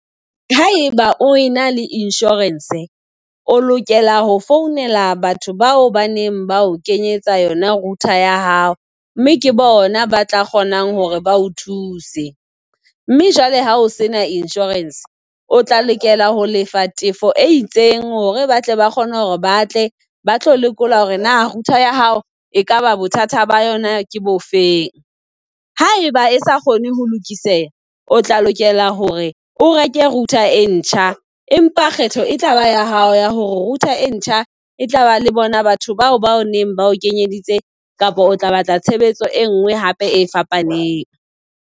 Ha eba o ena le insurance, o lokela ho founela batho bao baneng ba o kenyetsa yona router ya hao, mme ke bona ba tla kgonang hore ba o thuse. Mme jwale ha o sena insurance, o tla lokela ho lefa tefo e itseng hore batle ba kgone hore ba tle ba tlo lekola hore na router ya hao e kaba bothata ba yona ke bo feng. Ha eba e sa kgone ho lokiseha, o tla lokela hore o reke router e ntjha. Empa kgetho e tlaba ya hao ya hore router e ntjha e tlaba le bona batho bao bao neng ba kenyeditse, kapa o tla batla tshebetso e nngwe hape e fapaneng.